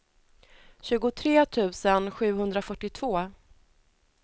tjugotre tusen sjuhundrafyrtiotvå